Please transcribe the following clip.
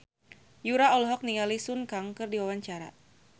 Yura olohok ningali Sun Kang keur diwawancara